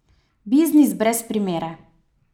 Biznis brez primere.